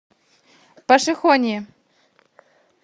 пошехонье